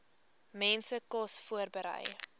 mense kos voorberei